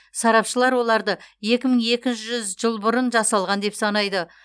сарапшылар оларды екі мың екі жүз жыл бұрын жасалған деп санайды